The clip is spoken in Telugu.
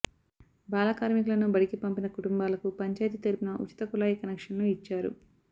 బాలకార్మికులను బడికి పంపిన కుటుంబాలకు పంచాయతీ తరపున ఉచిత కుళాయి కనెక్షన్లు ఇచ్చారు